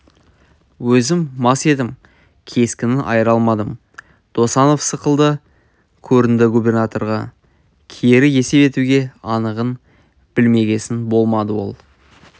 өзім мас едім кескінін айыра алмадым досанов сықылды көрінді губернаторға кері есеп етуге анығын білмегесін болмады ол